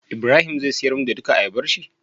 ibrahim zai siyar mun da dula ayabar shi?